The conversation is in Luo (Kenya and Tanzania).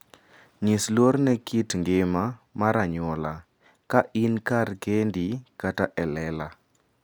Nyis luor ne kit ngima mar anyuola ka in kar kendi kata e lela.